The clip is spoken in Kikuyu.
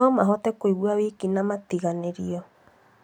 no mahote kũigua wiki na matiganĩirio.